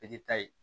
I k'i ta ye